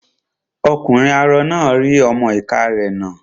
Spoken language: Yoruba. Ọkùnrin arọ náà rí ọmọ-ìká rẹ̀ nà